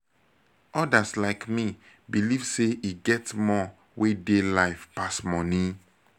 odas like me believe sey e get more wey dey life pass money.